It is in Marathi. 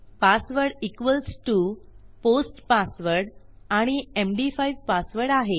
password equals to post password आणि एमडी5 पासवर्ड आहे